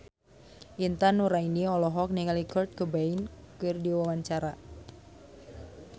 Intan Nuraini olohok ningali Kurt Cobain keur diwawancara